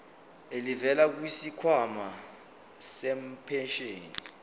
elivela kwisikhwama sempesheni